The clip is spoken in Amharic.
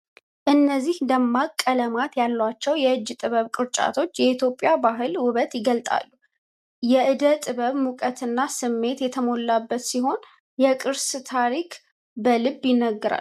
እነዚህ ደማቅ ቀለማት ያሏቸው የእጅ ጥበብ ቅርጫቶች የኢትዮጵያን ባህል ውበት ይገልጣሉ። የዕደ ጥበብ ሙቀትና ስሜት የተሞላበት ሲሆን፣ የቅርስን ታሪክ በልብ ይነግራል።